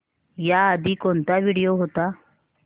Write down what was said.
याआधी कोणता व्हिडिओ होता